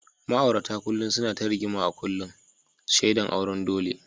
Ma’aurata kullum suna ta rigima a kullum, shaidan auren dole.